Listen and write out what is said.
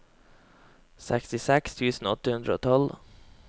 sekstiseks tusen åtte hundre og tolv